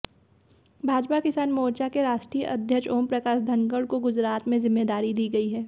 भाजपा किसान मोर्चा के राष्ट्रीय अध्यक्ष ओमप्रकाश धनखड़ को गुजरात में जिम्मेदारी दी गई है